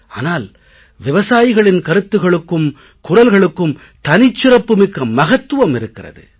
ஆனால் விவசாயிகளின் கருத்துக்களுக்கும் குரல்களுக்கும் தனிச்சிறப்பு மிக்க மகத்துவம் இருக்கிறது